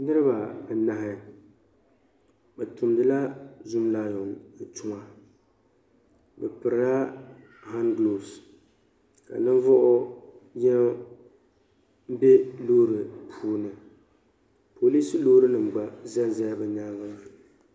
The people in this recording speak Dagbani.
Niriba anahi bi tumdi la zum laayon tuma bi piri la han guloofes ka ninvuɣu yini bɛ loori puuni poliis loori nim gba za n zala bi nyaanga maa.